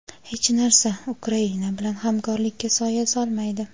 hech narsa Ukraina bilan hamkorlikka soya solmaydi.